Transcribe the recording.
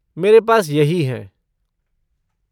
मेरे पास यही हैं।